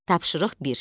Tapşırıq bir.